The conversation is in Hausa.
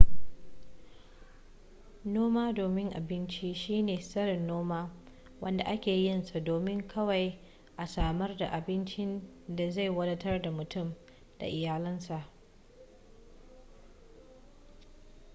noma domin abinci shine tsarin noma wanda ake yinsa domin kawai a samar da abincin da zai wadatar da mutum da iyalansa